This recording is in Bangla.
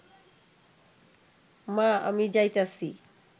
মা আমি যাইতাছি